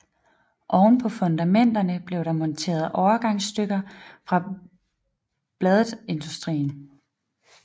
Oven på fundamenterne blev der monteret overgangsstykker fra Bladt Industries